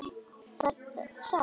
Það er satt!